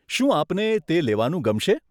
શું આપને તે લેવાનું ગમશે?